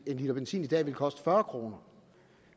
liter benzin i dag ville koste fyrre kroner